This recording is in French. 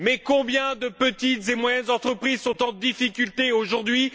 Mais combien de petites et moyennes entreprises sont en difficulté aujourd'hui?